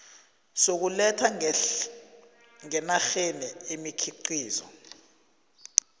sokuletha ngenarheni imikhiqizo